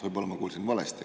Võib-olla ma kuulsin valesti.